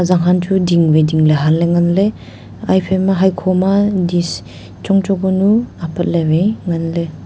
zanghan chu ding waI dingley Hanley nganley aye phaima haekho ma dish chong chong kunu apat lewaI nganley.